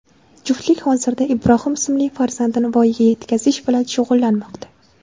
Juftlik hozirda Ibrohim ismli farzandini voyaga yetkazish bilan shug‘ullanmoqda.